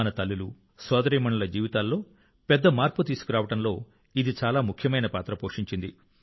మన తల్లులు సోదరీమణుల జీవితాల్లో పెద్ద మార్పు తీసుకురావడంలో ఇది చాలా ముఖ్యమైన పాత్ర పోషించింది